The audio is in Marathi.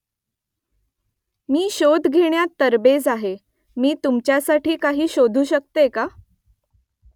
मी शोध घेण्यात तरबेज आहे . मी तुमच्यासाठी काही शोधू शकते का ?